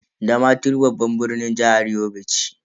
Damaturu babban birnin jihar Yobe ce.